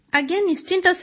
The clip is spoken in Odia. ଆଜ୍ଞା ନିଶ୍ଚିତ